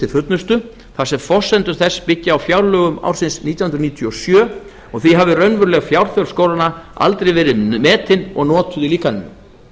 fullnustu þar sem forsendur þess byggi á fjárlögum ársins nítján hundruð níutíu og sjö og því hafi raunveruleg fjárþörf skólanna aldrei verið metin og notuð í líkaninu